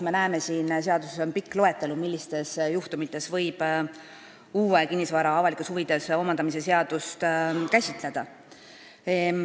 Siin seaduses on pikk loetelu, millistel juhtudel võib tulevikus kinnisasja avalikes huvides omandamise seadust kasutada.